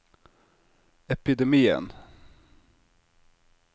epidemien